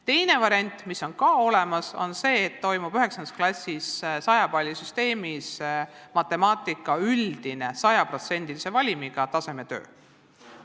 Teine variant, mis on samuti olemas, on selline, et 9. klassis toimub matemaatikas 100 palli süsteemis hinnatav üldine, 100%-lise valimiga tasemetöö.